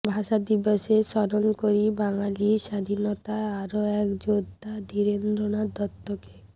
ভাষা দিবসে স্মরণ করি বাঙালির স্বাধীনতার আরও এক যোদ্ধা ধীরেন্দ্রনাথ দত্তকে